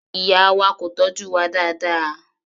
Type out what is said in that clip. Ìyá wa kò tọ́jú wa dáadáa.